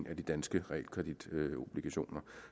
af de danske realkreditobligationer